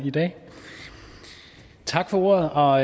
i dag tak for ordet og